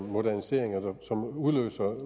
moderniseringer som udløser